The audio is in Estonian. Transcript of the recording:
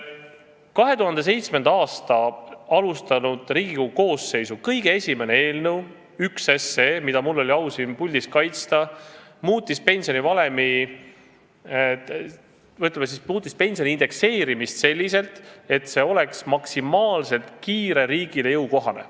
2007. aastal alustanud Riigikogu koosseisu kõige esimene eelnõu ehk 1 SE, mida mul oli au siin puldis kaitsta, muutis pensioni indekseerimist selliselt, et see oleks maksimaalselt kiire ja riigile jõukohane.